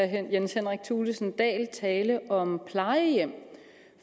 herre jens henrik thulesen dahl tale om plejehjem